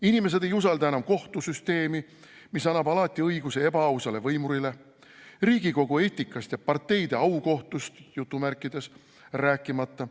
Inimesed ei usalda enam kohtusüsteemi, mis annab alati õiguse ebaausale võimurile, riigikogu eetikast ja parteide "aukohtust" rääkimata.